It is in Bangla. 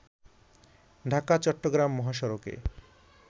ঢাকা- চট্রগ্রাম মহাসড়কে